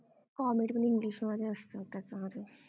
comedy पण english मध्ये असतं त्याच्यामधलं